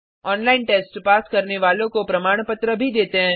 online test pass करने वालों को प्रमाण पत्र भी देते हैं